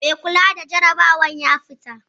Mai kula da jarabawar ya fita